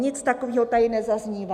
Nic takového tady nezaznívá.